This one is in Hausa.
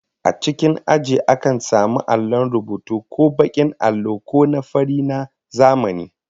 A cikin aji akan samu allon rubutu, ko bakin allo ko na fari na zamani